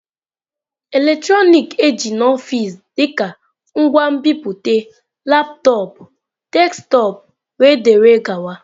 Eletrọnịkị eji n'ọfịs dịka ngwa nbipute, laptọọpụ, desktọpụ wdg.